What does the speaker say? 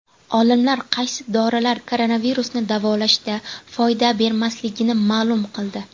Olimlar qaysi dorilar koronavirusni davolashda foyda bermasligini ma’lum qildi.